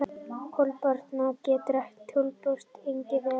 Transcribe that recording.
Kolkrabbar geta dulbúist einstaklega vel.